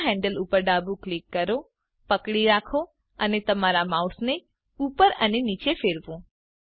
ભૂરાં handle ઉપર ડાબું click કરો પકડી રાખો અને તમારા માઉસને ઉપર અને નીચે ફેરવો